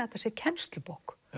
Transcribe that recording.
þetta sé kennslubók